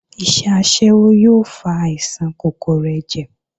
Iṣẹ́ aṣẹ́wó yóò fa àìsàn kòkòrò ẹ̀jẹ̀